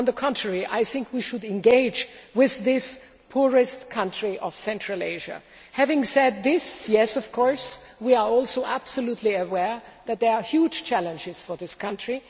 On the contrary, I think we should engage with this poorest country of Central Asia. Having said this, yes of course we are also fully aware that there are huge challenges for this country.